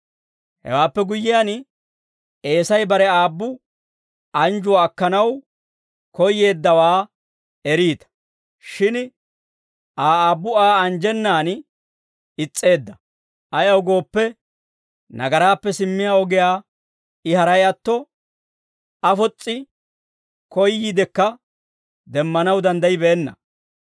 Hewaappe guyyiyaan, Eesay bare aabbu anjjuwaa akkanaw koyyeeddawaa eriita; shin Aa aabbu Aa anjjenan is's'eedda; ayaw gooppe, nagaraappe simmiyaa ogiyaa I haray atto, afos's'i koyyiidekka demmanaw danddayibeenna.